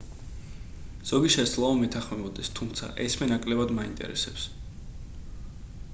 ზოგი შესაძლოა მეთანხმებოდეს თუმცა ეს მე ნაკლებად მაინტერესებს